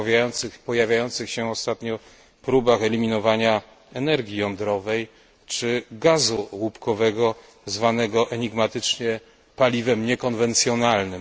o pojawiających się ostatnio próbach eliminowania energii jądrowej czy gazu łupkowego, zwanego obecnie enigmatycznie paliwem niekonwencjonalnym.